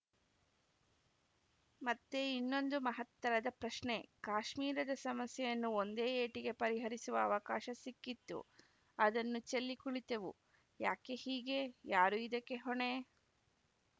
ಮತ್ತೆ ಇನ್ನೊಂದು ಮಹತ್ತರದ ಪ್ರಶ್ನೆ ಕಾಶ್ಮೀರದ ಸಮಸ್ಯೆಯನ್ನು ಒಂದೇ ಏಟಿಗೆ ಪರಿಹರಿಸುವ ಅವಕಾಶ ಸಿಕ್ಕಿತ್ತು ಅದನ್ನು ಚೆಲ್ಲಿ ಕುಳಿತೆವು ಯಾಕೆ ಹೀಗೇ ಯಾರು ಇದಕ್ಕೆ ಹೊಣೆ